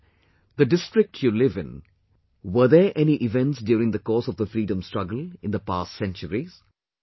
For example, the district you live in, were there any events during the course of the freedom struggle in the past centuries